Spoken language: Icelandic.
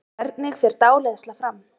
Hvernig fer dáleiðsla fram?